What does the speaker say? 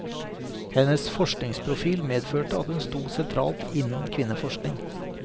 Hennes forskningsprofil medførte at hun sto sentralt innen kvinneforskning.